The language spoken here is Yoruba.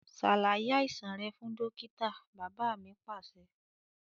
Ṣàlàyé àìsàn rẹ fún dókítà! Bàbá mi Pàṣẹ.